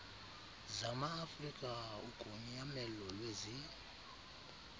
zamaafrika ugonyamelo lwezi